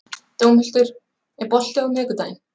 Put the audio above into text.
Dómhildur, er bolti á miðvikudaginn?